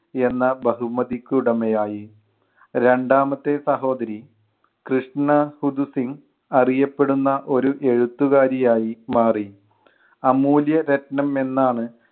എന്ന ബഹുമതിക്ക് ഉടമയായി. രണ്ടാമത്തെ സഹോദരി കൃഷ്ണ ഹുതുസിങ് അറിയപ്പെടുന്ന ഒരു എഴുത്തുകാരി ആയി മാറി. അമൂല്യ രത്‌നം എന്നാണ്